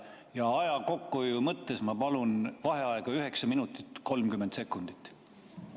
Ja aja kokkuhoiu mõttes ma palun vaheaega 9 minutit ja 30 sekundit.